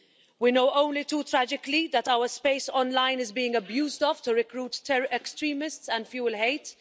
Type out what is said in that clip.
We know only too tragically that our space online is being abused to recruit extremists and fuel hate.